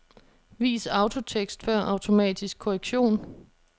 Vis autotekst før automatisk korrektion.